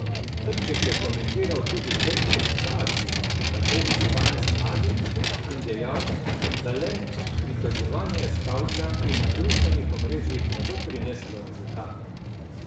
Trček je komentiral tudi težko situacijo, v kateri so danes mladi, in dejal, da le pritoževanje s kavča in na družbenih omrežjih ne bo prineslo rezultatov.